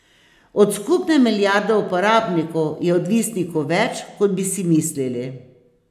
Od skupne milijarde uporabnikov je odvisnikov več, kot bi si mislili.